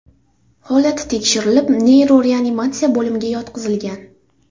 Holati tekshirilib neyroreanimatsiya bo‘limiga yotqizilgan.